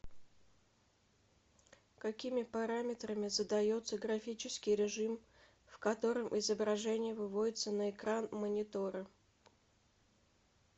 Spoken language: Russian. какими параметрами задается графический режим в котором изображения выводятся на экран монитора